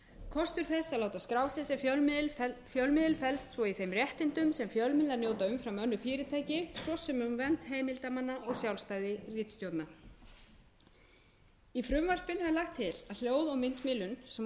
kostur þess að láta skrásetja fjölmiðil felst svo í þeim réttindum sem fjölmiðlar njóta umfram önnur fyrirtæki svo sem um vernd heimildarmanna og sjálfstæði ritstjórnar í frumvarpinu er lagt til að hljóð og myndmiðlun sem á uppruna sinn